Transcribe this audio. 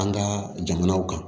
An ka jamanaw kan